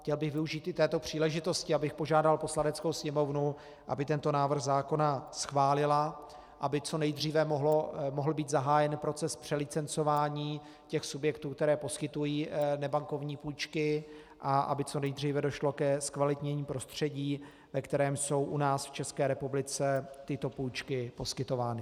Chtěl bych využít i této příležitosti, abych požádal Poslaneckou sněmovnu, aby tento návrh zákona schválila, aby co nejdříve mohl být zahájen proces přelicencování těch subjektů, které poskytují nebankovní půjčky, a aby co nejdříve došlo ke zkvalitnění prostředí, ve kterém jsou u nás v České republice tyto půjčky poskytovány.